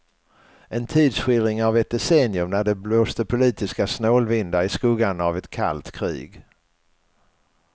En tidsskildring av ett decennium när det blåste politiska snålvindar i skuggan av ett kallt krig.